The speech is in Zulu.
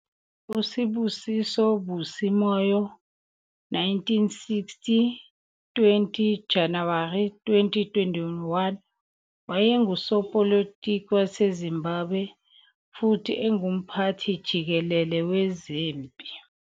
USibusiso Busi Moyo, 1960 - 20 Januwari 2021, wayengusopolitiki waseZimbabwe futhi engumphathi jikelele wezempi.